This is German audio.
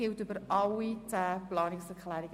Wir sprechen über alle zehn Planungserklärungen.